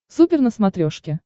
супер на смотрешке